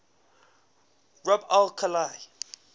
rub al khali